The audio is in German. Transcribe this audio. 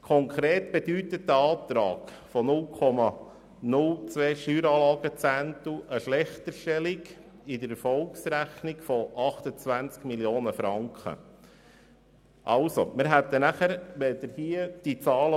Konkret bedeutet der Antrag auf 0,02 Steueranlagezehntel bei der Erfolgsrechnung eine Schlechterstellung in der Höhe von 28 Mio. Franken.